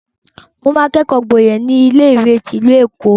Mo máa kẹ́kọ̀ọ́ gboyè ní ilé-ìwé ti ìlú Èkó.